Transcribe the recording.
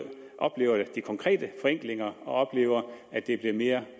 oplever de konkrete forenklinger og oplever at det bliver mere